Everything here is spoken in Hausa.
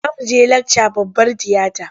Za mu je lakca babbar tiyata.